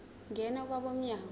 ngena kwabo mnyango